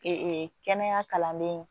Ee kɛnɛya kalanden